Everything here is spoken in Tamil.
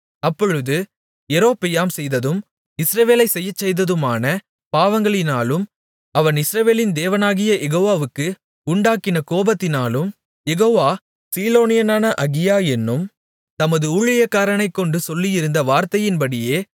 அப்பொழுது யெரொபெயாம் செய்ததும் இஸ்ரவேலைச் செய்யச்செய்ததுமான பாவங்களினாலும் அவன் இஸ்ரவேலின் தேவனாகிய யெகோவாவுக்கு உண்டாக்கின கோபத்தினாலும் யெகோவா சீலோனியனான அகியா என்னும் தமது ஊழியக்காரனைக்கொண்டு சொல்லியிருந்த வார்த்தையின்படியே